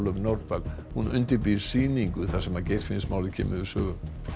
Nordal hún undirbýr sýningu þar sem Geirfinnsmálið kemur við sögu